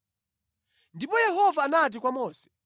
Ndipo Yehova anati kwa Mose,